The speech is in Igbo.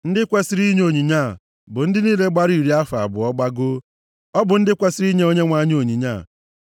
Ndị kwesiri inye onyinye a bụ ndị niile gbara iri afọ abụọ gbagoo. Ọ bụ ndị a kwesiri inye Onyenwe anyị onyinye a.